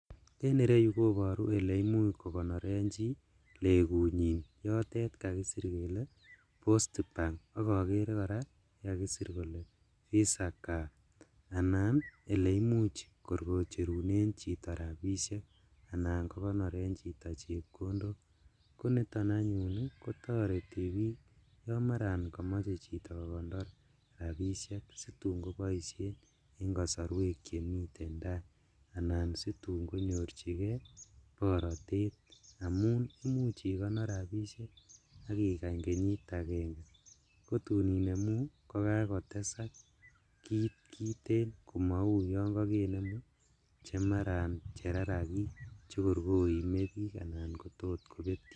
En ireyu koboru kole imuch kokonoren chi legunyin notet kakisir kele postbank ak okere koraa yekakisir kele visa card anan eleimuch kor kocherunen chito rabishek anan kokonoren chito chepkondok koniton anyun kotoreti bik yon maran komoche chito kokonor rabishek situn koboishen en kosorwek chemiten taa, anan situn konyorjigee borotet amun imuch ikonor rabishek ak igany kenyit agenge, kotun inemu kokakotesak kit kiten komou yon kokenemun chemaran rarakik chekor koimebik anan kotot kobetio.